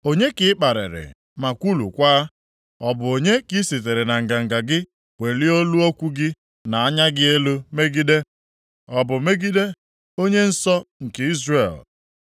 Onye ka ị kparịrị ma kwulukwaa? Ọ bụ onye ka i sitere na nganga gị welie olu okwu gị na anya gị elu megide? Ọ bụ megide onye Nsọ nke Izrel?